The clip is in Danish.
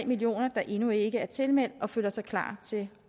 millioner der endnu ikke er tilmeldt og føler sig klar til